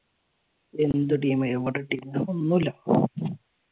എന്ത് ടീം എവിടാ ടീം ഇപ്പൊ ഒന്നും ഇല്ല.